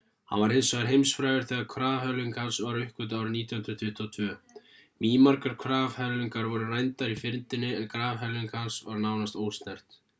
hann varð hins vegar heimsfrægur þegar grafhvelfing hans var uppgötvuð árið 1922. mýmargar grafhvelfingar voru rændar í fyrndinni en grafhvelfing hans var nánast ósnert